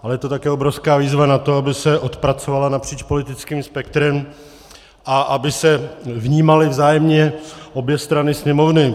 Ale je to také obrovská výzva na to, aby se odpracovala napříč politickým spektrem a aby se vnímaly vzájemně obě strany Sněmovny.